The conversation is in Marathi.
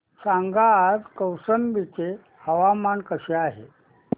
सांगा आज कौशंबी चे हवामान कसे आहे